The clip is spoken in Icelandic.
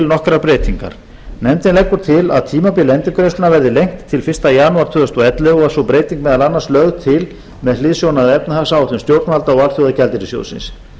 nokkrar breytingar nefndin leggur til að tímabil endurgreiðslunnar verði lengt til fyrsta janúar tvö þúsund og ellefu og er sú breyting meðal annars lögð til með hliðsjón af efnahagsáætlun stjórnvalda og alþjóðagjaldeyrissjóðsins